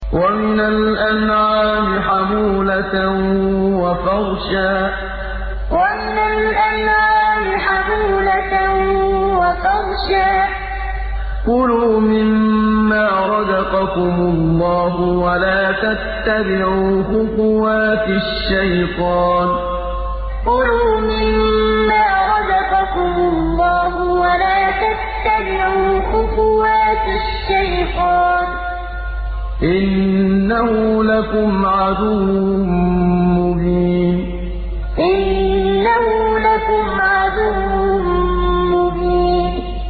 وَمِنَ الْأَنْعَامِ حَمُولَةً وَفَرْشًا ۚ كُلُوا مِمَّا رَزَقَكُمُ اللَّهُ وَلَا تَتَّبِعُوا خُطُوَاتِ الشَّيْطَانِ ۚ إِنَّهُ لَكُمْ عَدُوٌّ مُّبِينٌ وَمِنَ الْأَنْعَامِ حَمُولَةً وَفَرْشًا ۚ كُلُوا مِمَّا رَزَقَكُمُ اللَّهُ وَلَا تَتَّبِعُوا خُطُوَاتِ الشَّيْطَانِ ۚ إِنَّهُ لَكُمْ عَدُوٌّ مُّبِينٌ